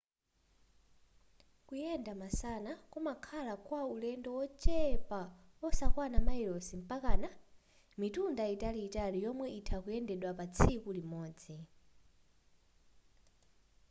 kuyenda masana kumakhala kwa ulendo wochepa wosakwana mayilosi mpaka mitunda italiitali yomwe itha kuyendedwa pa tsiku limodzi